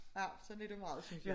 Ja sådan er det meget synes jeg